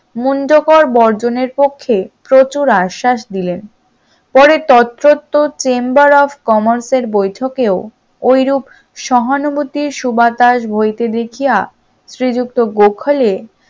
মুঞ্জকর বর্জনের পক্ষে প্রচুর আশ্বাস দিলেন, পরের তত্ত্বত্র chamber of commerce এর বৈঠকেও ঐরূপ সহানুভূতির সুবাতাস বইতে দেখিয়া শ্রীযুক্ত গোখলে